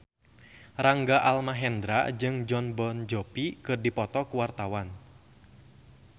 Rangga Almahendra jeung Jon Bon Jovi keur dipoto ku wartawan